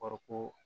Kɔrɔ ko